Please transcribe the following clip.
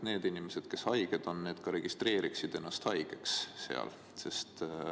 Need inimesed, kes haiged on, peavad ennast seal ka registreerima.